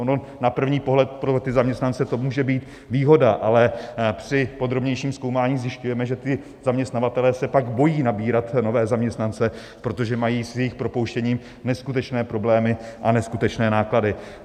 Ono na první pohled pro ty zaměstnance to může být výhoda, ale při podrobnějším zkoumání zjišťujeme, že ti zaměstnavatelé se pak bojí nabírat nové zaměstnance, protože mají s jejich propouštěním neskutečné problémy a neskutečné náklady.